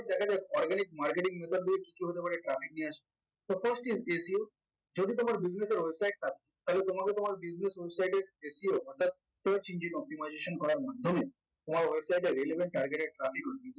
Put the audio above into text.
দেখা যাক organic marketing method গুলো কি কি হতে পারে traffic নিয়ে আসার যদি তোমার business এর website থাকে তাহলে তোমাকে তোমার business website এর SEO অর্থাৎ search engine optimization করার মাধ্যমে তোমার website এর relevant targeted traffic